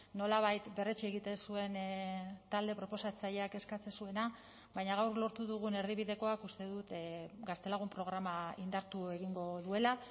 nolabait berretsi egiten zuen talde proposatzaileak eskatzen zuena baina gaur lortu dugun erdibidekoak uste dut gaztelagun programa indartu egingo duela